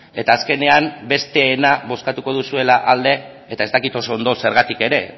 eta azkenean besteena bozkatuko duzuela alde eta ez dakit oso ondo zergatik ere